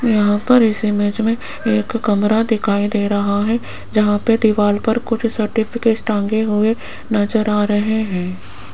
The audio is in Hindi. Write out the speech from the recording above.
यहाँ पर इस इमेज में एक कमरा दिखाई दे रहा है जहाँ पे दीवाल पर कुछ सर्टिफिकेट्स टांगे हुए नजर आ रहे हैं।